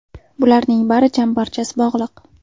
Bularning bari chambarchas bog‘liq.